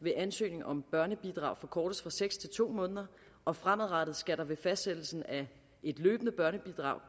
ved ansøgning om børnebidrag forkortes fra seks til to måneder og fremadrettet skal der ved fastsættelsen af et løbende børnebidrag